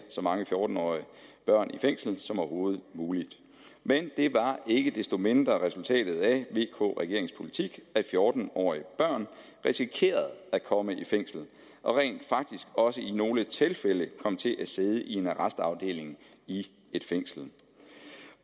så mange fjorten årige børn i fængsel som overhovedet muligt men det var ikke desto mindre resultatet af vk regeringens politik at fjorten årige børn risikerede at komme i fængsel og rent faktisk også i nogle tilfælde kom til at sidde i en arrestafdeling i et fængsel